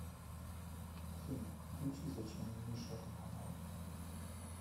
афина включи зачем миша романова